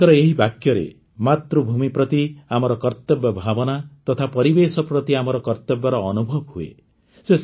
ତାଙ୍କର ଏହି ବାକ୍ୟରେ ମାତୃଭୂମି ପ୍ରତି ଆମର କର୍ତ୍ତବ୍ୟ ଭାବନା ତଥା ପରିବେଶ ପ୍ରତି ଆମର କର୍ତ୍ତବ୍ୟର ଅନୁଭବ ହୁଏ